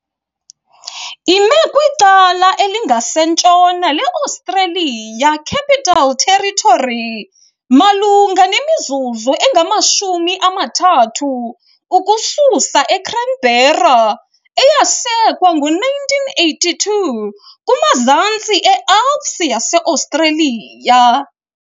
Ime kwicala elinkasentshona le-Australian Capital Territory, malunga nemizuzu engama-30 ukusuka eCanberra, eyasekwa ngo-1928 kumazantsi eAlps yase-Australia.